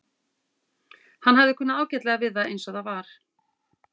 Hann hafði kunnað ágætlega við það eins og það var.